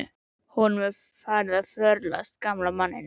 Honum er farið að förlast, gamla manninum.